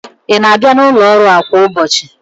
Ị na-abịa n'ụlọ ọrụ a kwa ụbọchị?